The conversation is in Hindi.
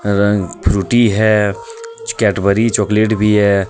फ्रूटी है कैडबरी चॉकलेट भी है.